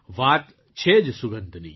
વાત છે જ સુગંધની